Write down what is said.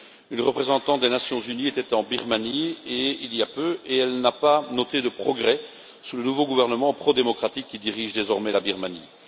Une représentante des Nations unies était en Birmanie il y a peu, et elle n'a pas noté de progrès sous le nouveau gouvernement pro démocratique qui dirige désormais la Birmanie.